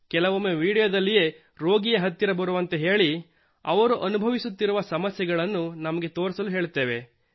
ಕೆಲವೊಮ್ಮೆ ವೀಡಿಯೊದಲ್ಲಿಯೇ ರೋಗಿಯನ್ನು ಹತ್ತಿರ ಬರುವಂತೆ ಹೇಳಿ ಅವನು ಅನುಭವಿಸುತ್ತಿರುವ ಸಮಸ್ಯೆಗಳನ್ನು ನಮಗೆ ತೋರಿಸಲು ಹೇಳುತ್ತೇವೆ